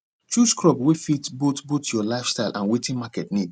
chose crop wey fit both both your life style and watin market need